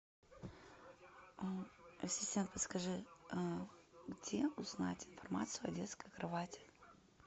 ассистент подскажи где узнать информацию о детской кровати